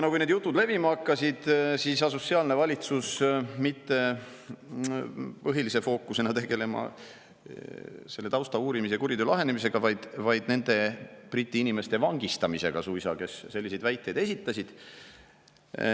No kui need jutud levima hakkasid, siis asus sealne valitsus põhilise fookusena tegelema mitte selle tausta uurimise ja kuriteo lahendamisega, vaid nende Briti inimeste vangistamisega suisa, kes selliseid väiteid esitasid.